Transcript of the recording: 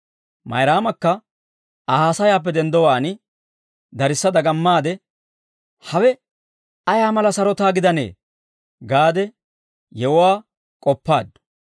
Mayraamakka Aa haasayaappe denddowaan darissa dagamaade, «Hawe ayaa mala sarotaa gidanee» gaade yewuwaa k'oppaaddu.